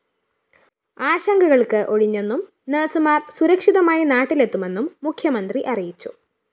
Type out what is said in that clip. ആശങ്കകള്‍ക്ക് ഒഴിഞ്ഞെന്നും നഴ്‌സുമാര്‍ സുരക്ഷിതമായി നാട്ടിലെത്തുമെന്നും മുഖ്യമന്ത്രി അറിയിച്ചു